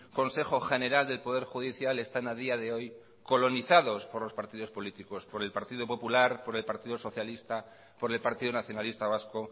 consejo general del poder judicial están a día de hoy colonizados por los partidos políticos por el partido popular por el partido socialista por el partido nacionalista vasco